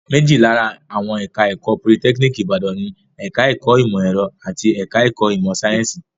Méjì lára àwọn ẹ̀ka-ẹ̀kọ́ Politẹ́kíníkì Ìbàdàn ni; ẹ̀ka-ẹ̀kọ́ ìmọ̀-ẹ̀rọ àti ẹ̀ka-ẹ̀kọ́ ìmọ̀-sáyẹ́ńsì.